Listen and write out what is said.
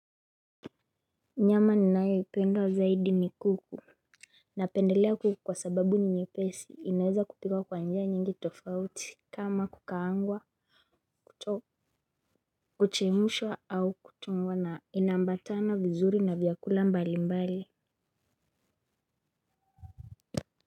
Nyama ninayoipenda zaidi ni kuku. Napendelea kuku kwa sababu ni nyepesi inaweza kupikwa kwa njia nyingi tofauti kama kukaangwa kuchemshwa au kuchomwa na inaambatana vizuri na vyakula mbalimbali.